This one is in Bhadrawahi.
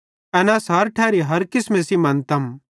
एन अस हर ठैरी हर किसमे सेइं मन्तम